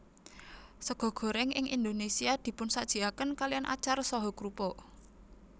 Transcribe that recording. Sega goréng ing Indonésia dipunsajiaken kalian acar saha krupuk